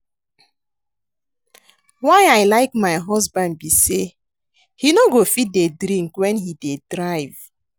Why I like my husband be say he no go fit dey drink wen he dey drive